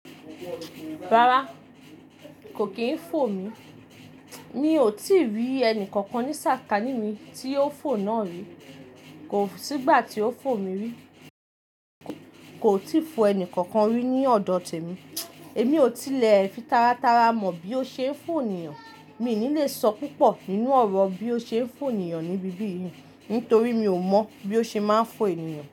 Rárá kò kí ń fò mí, mi ò tí rí ẹni kankan ní sàkání mi tí o fò náà rí. Kò sí ìgbà tí o fò mí rí. Kò tí fò ẹni kankan rí ní ọ̀dọ̀ tèmi. Èmi ò tí lè fi taratara mọ̀ bí o ṣe ń fò ènìyàn. Mi ní lè sọ púpọ̀ nínú ọ̀rọ̀ bí o ṣe ń fò ènìyàn níbí yìí, nítorí mi ò mọ̀ bí ó ṣe máa ń fò ènìyàn.